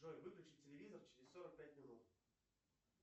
джой выключи телевизор через сорок пять минут